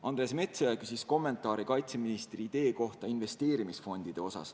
Andres Metsoja küsis kommentaari kaitseministri idee kohta, mis puudutab investeerimisfonde.